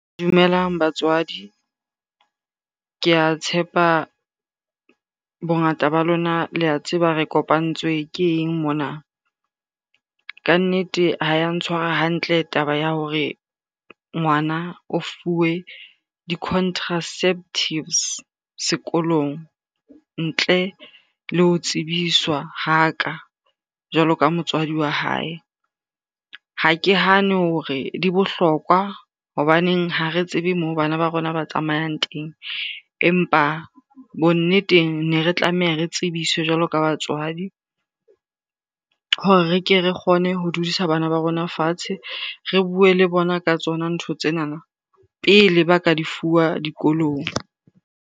Dumelang batswadi. Ke a tshepa bongata ba lona le a tseba re kopantswe ke eng mona. Ka nnete ha ya ntshwara hantle taba ya hore ngwana o fuwe di-contraceptives sekolong ntle le ho tsebiswa ha ka jwalo ka motswadi wa hae. Ha ke hane hore di bohlokwa hobaneng ha re tsebe moo bana ba rona ba tsamayang teng. Empa bonneteng ne re tlameha re tsebiswe jwalo ka batswadi hore re ke re kgone ho dudisa bana ba rona fatshe, re bue le bona ka tsona ntho tsenana pele ba ka di fuwa dikolong.